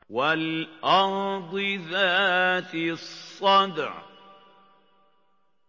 وَالْأَرْضِ ذَاتِ الصَّدْعِ